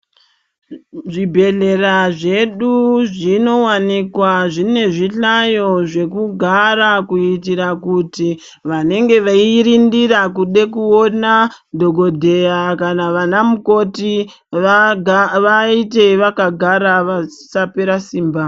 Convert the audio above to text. Zvibhedhlera zvedu zvinowanikwa zvine zvihlayo zvekugara kuitira kuti vanenge veyirindira kude kuona dhokodheya kana vana mukoti vaite vakagara vasapera simba.